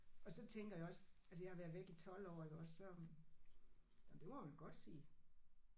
Og så tænker jeg også altså jeg har været væk i 12 år iggås så jamen det må jeg vel godt sige